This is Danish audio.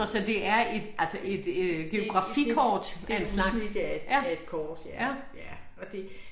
Nå så det er et altså et øh geografikort af en slags ja ja